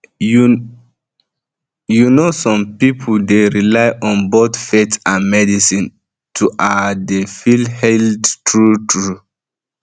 you know some pipu dey rely on both faith and medicine to ah dey feel healed true true